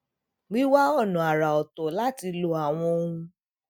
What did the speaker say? wíwá ònà àrà oto láti lo àwọn ohun